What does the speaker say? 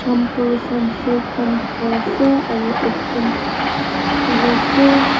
shampoo sunsilk khan dekhai ase aru ekjont ahe ase.